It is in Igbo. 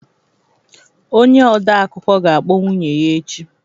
Onye odeakụkọ ga-akpọ nwunye ya echi